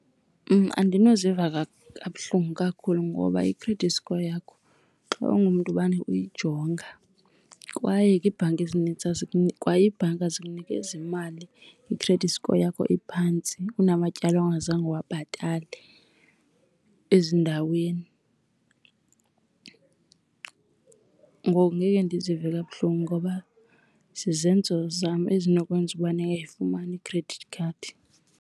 Andinoziva kabuhlungu kakhulu ngoba i-credit score yakho xa ungumntu umane uyijonga kwaye ke iibhanki ezinintsi, kwa ibhanka azikunikezi imali i-credit score yakho iphantsi, unamatyala ongazange uwabhatale ezindaweni. Ngoku ngeke ndizive kabuhlungu ngoba zizenzo zam ezinokwenza ukuba ndingayifumani i-credit card.